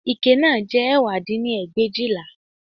Ike náà jẹ́ ẹ̀wá dín ní ẹgbẹ̀éjìlá